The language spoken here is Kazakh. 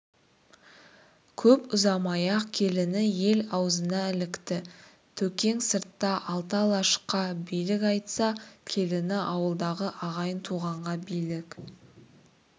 көп ұзамай-ақ келіні ел аузына ілікті төкең сыртта алты алашқа билік айтса келіні ауылдағы ағайын-туғанға билік